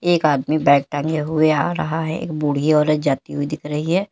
एक आदमी बैग टागे हुए आ रहा है एक बुढ़ी औरत जाती हुई दिख रही है।